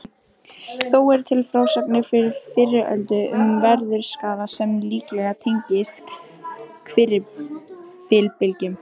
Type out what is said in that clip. Þó eru til frásagnir frá fyrri öldum um veðurskaða sem líklega tengist hvirfilbyljum.